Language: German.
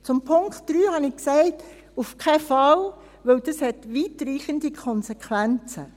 Zum Punkt 3 habe ich gesagt: auf keinen Fall, denn dies hat weitreichende Konsequenzen.